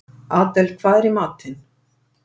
Adel, hvað er í matinn?